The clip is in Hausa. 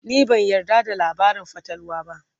ni ban yarda da labarin fatalwa ba